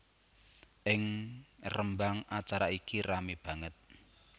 Ing Rembang acara iki ramé banget